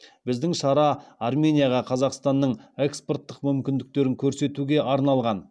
біздің шара арменияға қазақстанның экспорттық мүмкіндіктерін көрсетуге арналған